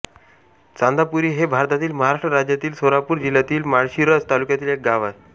चांदापुरी हे भारतातील महाराष्ट्र राज्यातील सोलापूर जिल्ह्यातील माळशिरस तालुक्यातील एक गाव आहे